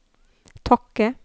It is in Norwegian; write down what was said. Tokke